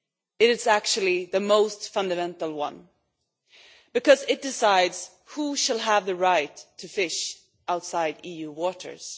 It is actually the most fundamental one because it decides who shall have the right to fish outside EU waters.